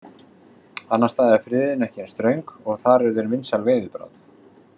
Annars staðar er friðun ekki eins ströng og þar eru þeir vinsæl veiðibráð.